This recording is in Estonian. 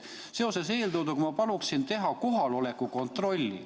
Seoses eeltooduga palun ma teha kohaloleku kontrolli.